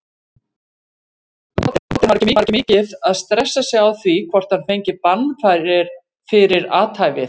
Króatinn var ekki mikið að stressa sig á hvort hann fengi bann fyrir athæfið.